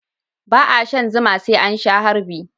ba a shan zuma sai an sha harbi